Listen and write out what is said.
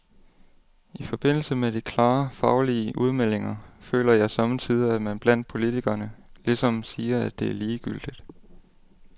I forbindelse med de klare, faglige udmeldinger føler jeg somme tider, at man blandt politikerne ligesom siger, at det er ligegyldigt.